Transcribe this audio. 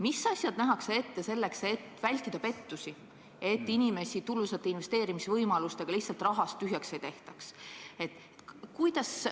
Mis abinõud nähakse ette selleks, et vältida pettusi, et inimesi tulusate investeerimisvõimaluste lubadustega lihtsalt rahast tühjaks ei tehtaks?